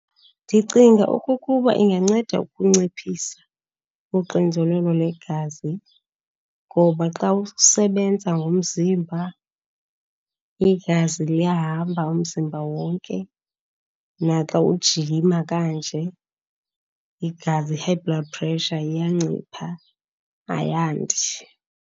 Ndicinga okokuba inganceda ukunciphisa uxinzelelo legazi, ngoba xa usebenza ngomzimba igazi liyahamba umzimba wonke. Naxa ujima kanje, igazi, i-high blood pressure iyancipha ayandi.